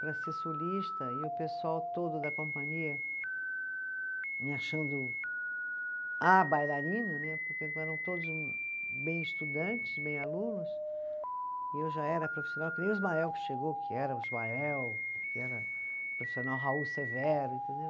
Para ser solista, e o pessoal todo da companhia me achando a bailarina né, porque eram todos bem estudantes, bem alunos, e eu já era profissional, que nem o Ismael que chegou, que era o Ismael, que era o profissional Raul Severo, entendeu?